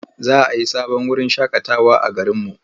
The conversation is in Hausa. Za a yi sabon wurin shaƙatawa a garinmu.